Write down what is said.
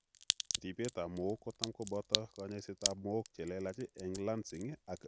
Ribeet ab mook kotam kobooto kanyoiset ab mook chelelach eng' lancing ak draining